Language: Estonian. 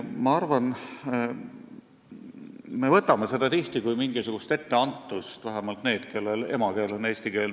Ma arvan, me võtame seda tihti kui mingisugust etteantust – vähemalt need, kelle emakeel on eesti keel.